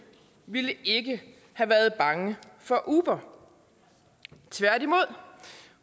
ville ikke have været bange for uber tværtimod